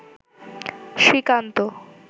Srikanta